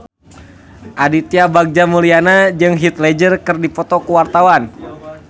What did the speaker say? Aditya Bagja Mulyana jeung Heath Ledger keur dipoto ku wartawan